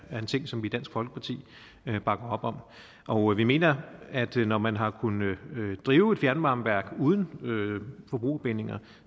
er en ting som vi i dansk folkeparti bakker op om og vi mener at når man har kunnet drive et fjernvarmeværk uden forbrugerbindinger